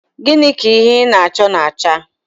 Gịnị ka ihe ị na-achọ na-acha?